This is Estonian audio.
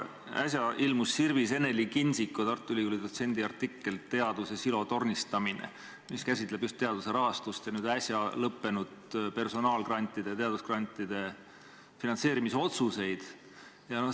Äsja ilmus Sirbis Eneli Kindsiko, Tartu Ülikooli dotsendi artikkel "Teaduse "silotornistamine"", mis käsitleb just teaduse rahastust ja nüüd äsja tehtud personaalsete teadusgrantide finantseerimise otsuseid.